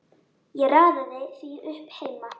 Ég raðaði því upp heima.